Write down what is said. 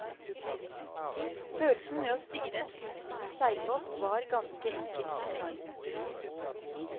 Følelsen ved å styre en slik stor seilbåt var ganske enkel enorm.